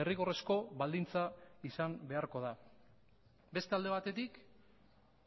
derrigorrezko baldintza izan beharko da beste alde batetik